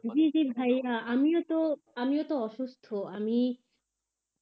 জি জি ভাইয়া আমিও তো আমি ও তো অসুস্থ, আমি